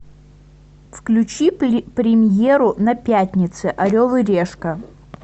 включи премьеру на пятнице орел и решка